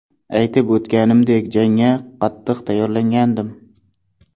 Aytib o‘tganimdek, jangga qattiq tayyorlangandim.